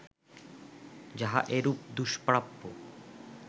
যাহা এরূপ দুষ্প্রাপ্য